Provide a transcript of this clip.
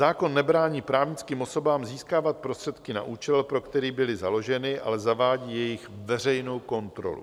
Zákon nebrání právnickým osobám získávat prostředky na účel, pro který byly založeny, ale zavádí jejich veřejnou kontrolu.